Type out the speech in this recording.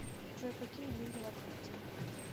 джой какие деньги в абхазии